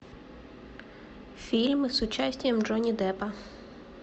фильмы с участием джонни деппа